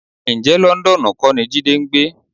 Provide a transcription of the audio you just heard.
Ǹjẹ́ Lọ́ńdọ́ọ̀nù kọ́ ni Jídé ń gbé?